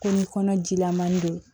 Ko ni kɔnɔ jilaman don